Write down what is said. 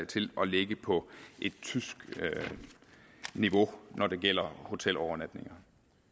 til at ligge på tysk niveau når det gælder hotelovernatninger